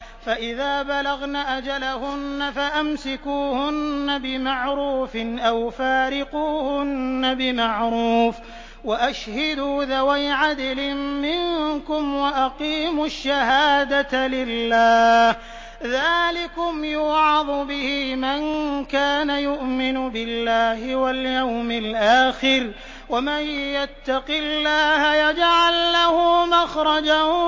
فَإِذَا بَلَغْنَ أَجَلَهُنَّ فَأَمْسِكُوهُنَّ بِمَعْرُوفٍ أَوْ فَارِقُوهُنَّ بِمَعْرُوفٍ وَأَشْهِدُوا ذَوَيْ عَدْلٍ مِّنكُمْ وَأَقِيمُوا الشَّهَادَةَ لِلَّهِ ۚ ذَٰلِكُمْ يُوعَظُ بِهِ مَن كَانَ يُؤْمِنُ بِاللَّهِ وَالْيَوْمِ الْآخِرِ ۚ وَمَن يَتَّقِ اللَّهَ يَجْعَل لَّهُ مَخْرَجًا